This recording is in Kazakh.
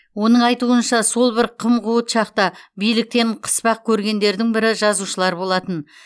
оның айтуынша сол бір қым қуыт шақта биліктен қыспақ көргендердің бірі жазушылар болатын